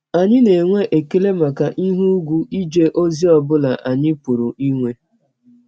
Anyị na - enwe ekele maka ihe ùgwù ije ọzi ọ bụla anyị pụrụ inwe.